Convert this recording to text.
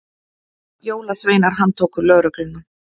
Jólasveinar handtóku lögregluna